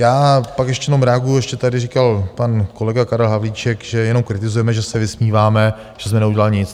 Já pak jenom ještě reaguji - ještě tady říkal pan kolega Karel Havlíček, že jenom kritizujeme, že se vysmíváme, že jsme neudělali nic.